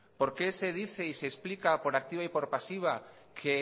por qué se dice y se explica por activa y por pasiva que